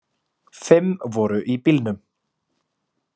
Fimm voru í bílnum